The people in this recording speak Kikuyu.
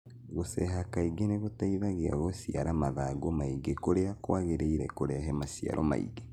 Gũceha kaingĩ nĩgũteithagia gũciara mathangũ maingĩ kũrĩa kwagĩrĩire kũrehe maciaro maingĩ